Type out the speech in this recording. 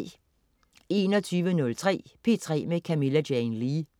21.03 P3 med Camilla Jane Lea